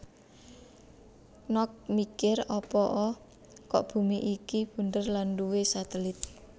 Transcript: Knox mikir apa o kok bumi iki bunder lan duwe satelit